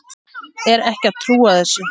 Er ekki að trúa þessu.